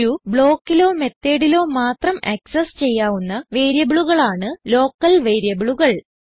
ഒരു ബ്ലോക്കിലോ methodലോ മാത്രം ആക്സസ് ചെയ്യാവുന്ന വേരിയബിളുകളാണ് ലോക്കൽ വേരിയബിളുകൾ